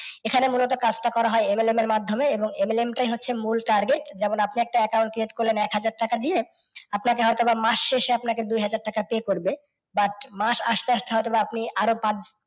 এখানে মুলত কাজ টা করা হয় M এর মাধ্যমে M টাই হচ্ছে মূল target যখন আপনি একটা account create করলেন এক হাজার টাকা দিয়ে আপনাকে হয়তো বা মাস শেষে আপনাকে দুই হাজার টাকা pay করবে but মাস আস্তে আস্তে হইত বা আপনি আর ও পাঁচ